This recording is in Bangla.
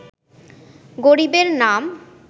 গরিবের নাম